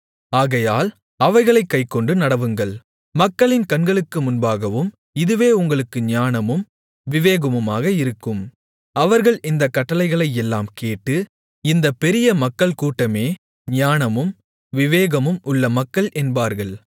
ஆகையால் அவைகளைக் கைக்கொண்டு நடவுங்கள் மக்களின் கண்களுக்கு முன்பாகவும் இதுவே உங்களுக்கு ஞானமும் விவேகமுமாக இருக்கும் அவர்கள் இந்தக் கட்டளைகளையெல்லாம் கேட்டு இந்தப் பெரிய மக்கள் கூட்டமே ஞானமும் விவேகமும் உள்ள மக்கள் என்பார்கள்